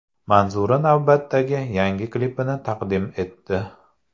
Manzura navbatdagi yangi klipini taqdim etdi.